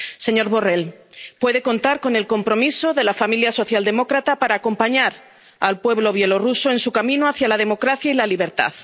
Señor Borrell, puede contar con el compromiso de la familia socialdemócrata para acompañar al pueblo bielorruso en su camino hacia la democracia y la libertad.